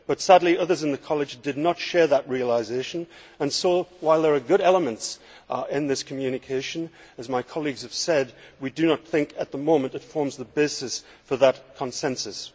But sadly, others in the College did not share that realisation and so, while there are good elements in this communication, as my colleagues have said, we do not think that at the moment, it forms the basis for that consensus.